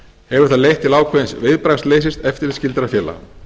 hefur það leitt til ákveðins viðbragðsleysis eftirlitsskyldra félaga